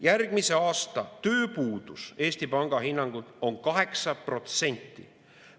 Järgmise aasta tööpuudus Eesti Panga hinnangul on 8%.